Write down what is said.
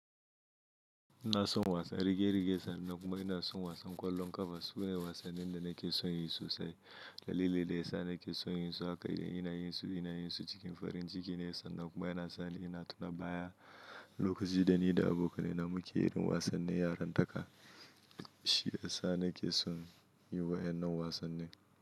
Ina son wasa, rige-rige sannan kuma ina son wasa kwallon kafa. Su na wasannin da nake son yin sosai. Dalili da ya sa nake son yin su haka shine ina yin su, ina yin su cikin farin ciki ne sannan kuma yana sa ni ina tuna baya lokacin da ni da abokanai na muke yin wasannin yarin taka. Shi ya sa nake son yin wa'yan nan wasannin.